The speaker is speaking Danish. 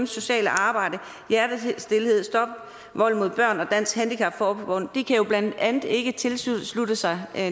sociale arbejde hjertestilhed stop vold mod børn og dansk handicap forbund kan blandt andet ikke tilslutte sig